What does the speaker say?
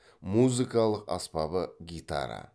музыкалық аспабы гитара